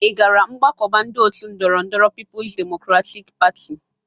Ị gara mgbakọba ndị ọtu ndọrọndọrọ Pipu's Demokratik Pati?